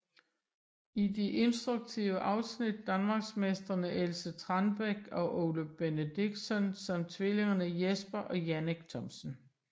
I de instruktive afsnit danmarksmestrene Else Trangbæk og Ole Benediktsson samt tvillingerne Jesper og Jannik Thomsen